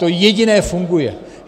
To jediné funguje.